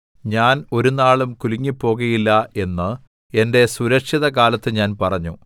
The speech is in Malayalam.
ഞാൻ ഒരുനാളും കുലുങ്ങിപ്പോകുകയില്ല എന്ന് എന്റെ സുരക്ഷിതകാലത്ത് ഞാൻ പറഞ്ഞു